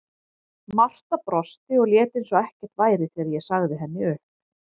Marta brosti og lét eins og ekkert væri þegar ég sagði henni upp.